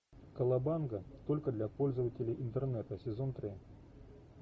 колобанга только для пользователей интернета сезон три